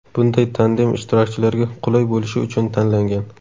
Bunday tandem ishtirokchilarga qulay bo‘lishi uchun tanlangan.